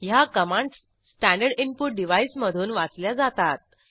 ह्या commands standard input डिव्हाईसमधून वाचल्या जातात